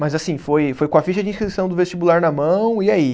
Mas assim, foi foi com a ficha de inscrição do vestibular na mão, e aí?